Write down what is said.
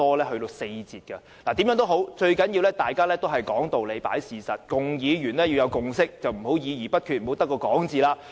無論如何，最重要的是講道理和事實，議員必須取得共識，不要議而不決，空口說白話。